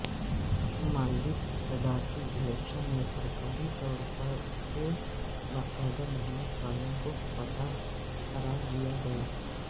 مالدیپ کے صدارتی الیکشن میں سرکاری طورسے باقاعدہ محمد صالح کو فاتح قرار دیا گیا